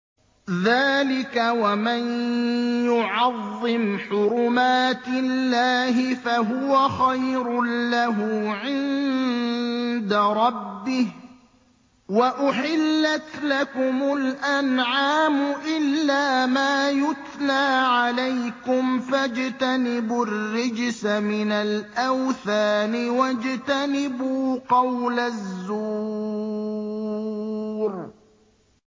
ذَٰلِكَ وَمَن يُعَظِّمْ حُرُمَاتِ اللَّهِ فَهُوَ خَيْرٌ لَّهُ عِندَ رَبِّهِ ۗ وَأُحِلَّتْ لَكُمُ الْأَنْعَامُ إِلَّا مَا يُتْلَىٰ عَلَيْكُمْ ۖ فَاجْتَنِبُوا الرِّجْسَ مِنَ الْأَوْثَانِ وَاجْتَنِبُوا قَوْلَ الزُّورِ